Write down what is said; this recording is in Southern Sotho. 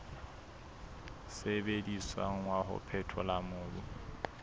sebediswang wa ho phethola mobu